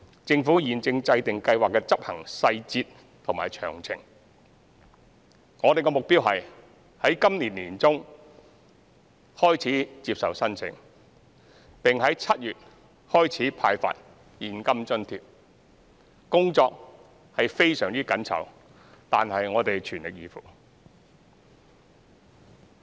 政府現正制訂計劃的執行細節和詳情，我們的目標是於今年年中開始接受申請，並於7月開始派發現金津貼，工作非常緊湊，但我們會全力以赴。